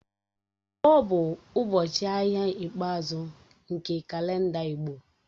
Nkwọ̀ bụ ụbọchị ahịa ikpeazụ nke kalenda Igbo